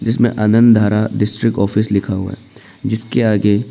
जिसमें Anand Dhara district office लिखा हुआ है जिसके आगे--